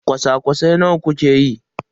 kwasa-kwasai nawa kuke yi?